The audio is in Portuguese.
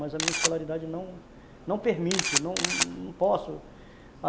Mas a minha escolaridade não, não permite, não posso.